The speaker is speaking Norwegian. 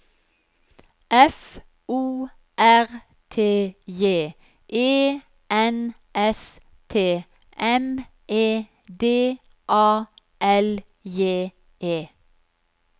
F O R T J E N S T M E D A L J E